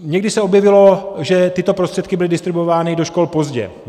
Někdy se objevilo, že tyto prostředky byly distribuovány do škol pozdě.